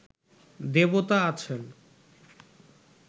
দেবতা আছেন